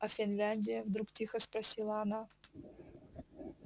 а финляндия вдруг тихо спросила она